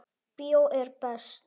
Bíó er best.